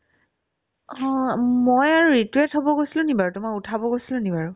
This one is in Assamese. হ মই আৰু ৰিতুয়ে থ'ব গৈছিলো নেকি বাৰু তোমাক উঠাব গৈছিলো নেকি বাৰু